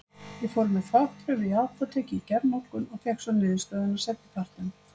Ég fór með þvagprufu í apótekið í gærmorgun og fékk svo niðurstöðuna seinni partinn.